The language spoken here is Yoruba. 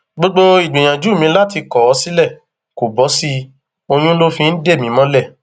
gbogbo ìgbìyànjú mi láti kọ ọ sílẹ kó bọ sí i oyún ló fi ń dè mí mọlẹ